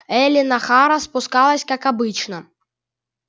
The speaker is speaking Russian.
эллин охара спускалась как обычно